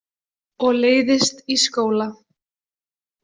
Og leiðist í skóla.